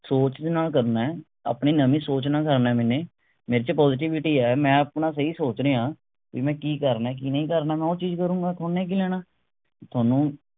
ਸੋਚ ਦੇ ਨਾਲ ਕਰਨਾ ਹੈ, ਆਪਣੀ ਨਵੀ ਸੋਚ ਨਾਲ ਕਰਨਾ ਹੈ ਮੈਨੇ। ਮੇਰੇ ਚ positivity ਆ ਮੈਂ ਆਪਣਾ ਸਹੀ ਸੋਚ ਰਿਹਾਂ ਮੈਂ ਕਿ ਕਰਨਾ ਕਿ ਨਹੀਂ ਕਰਨਾ ਮੈਂ ਉਹ ਕਰੂੰਗਾ ਥੋਨੂੰ ਕਿ ਲੈਣਾ ਥੋਨੂੰ।